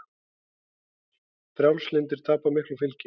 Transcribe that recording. Frjálslyndir tapa miklu fylgi